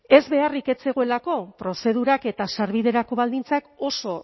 ez ez beharrik ez zegoelako prozedurak eta sarbiderako baldintzak oso